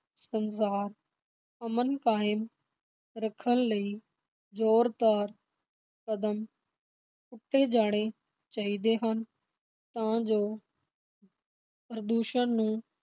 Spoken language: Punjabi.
ਸੰਸਾਰ ਅਮਨ ਕਾਇਮ ਰੱਖਣ ਲਈ ਜ਼ੋਰਦਾਰ ਕਦਮ ਪੁੱਟੇ ਜਾਣੇ ਚਾਹੀਦੇ ਹਨ, ਤਾਂ ਜੋ ਪ੍ਰਦੂਸ਼ਣ ਨੂੰ